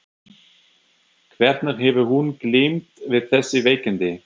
Hvernig hefur hún glímt við þessi veikindi?